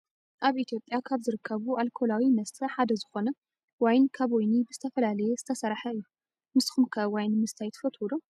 ኣብ ኢትዮጵያ ካብ ዝርከቡ ኣልኮላዊ መስተ ሓደ ዝኮነ ዋይን ካብ ወይኒ ብዝተፈላለየ ዝተሰረሓ እዩ። ንስኩም ከ ዋይን ምስታይ ትፈትው ዶ ?